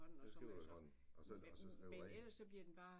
Jeg skriver i hånden. Og så og så skriver rent